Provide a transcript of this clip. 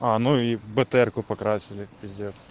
а ну и бтр-ку покрасили пиздец